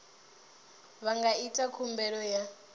vha nga ita khumbelo ya